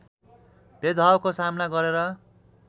भेदभावको सामना गरेर